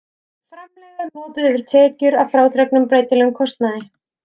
Framlegð er notuð yfir tekjur að frádregnum breytilegum kostnaði.